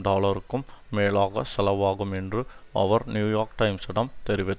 டாலருக்கும் மேலாக செலவாகும் என்று அவர் நியூயோர்க் டைம்சிடம் தெரிவித்